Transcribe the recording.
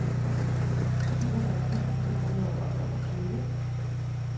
syvogtres tusind et hundrede og treogtyve